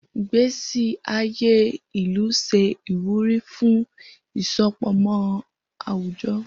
Igbesi aye ilu ṣe iwuri fun isopọmọ awujọ.